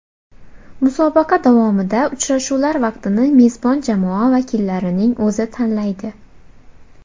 Musobaqa davomida uchrashuvlar vaqtini mezbon jamoa vakillarining o‘zi tanlaydi.